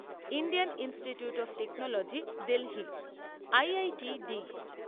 Indian Institute of Technology Delhi IITD